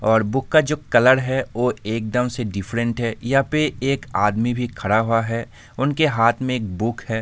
और बुक का जो कलर है वो इकदम से डिफरेंट है यहाँ पे एक आदमी भी खड़ा हुआ है उनके हाथ में एक बुक है।